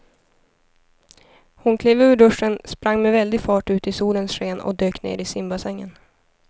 Hon klev ur duschen, sprang med väldig fart ut i solens sken och dök ner i simbassängen.